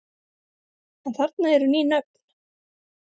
En þarna eru ný nöfn.